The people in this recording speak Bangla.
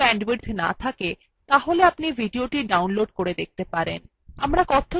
যদি ভাল bandwidth না থাকে তাহলে আপনি ভিডিওটি download করে দেখতে পারেন